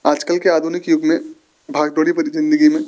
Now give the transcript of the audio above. आजकल के आधुनिक युग में भाग दौड़ी भरी जिंदगी में--